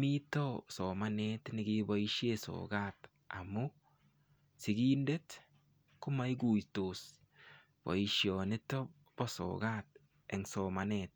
mito somanet nekeboishe sokat amu sikindet komaikuitos boishonito bo sokat eng somanet.